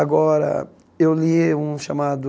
Agora, eu li um chamado...